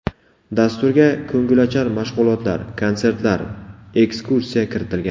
Dasturga ko‘ngilochar mashg‘ulotlar, konsertlar, ekskursiya kiritilgan.